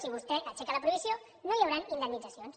si vostè aixeca la prohibició no hi hauran indemnitzacions